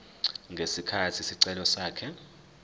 ngesikhathi isicelo sakhe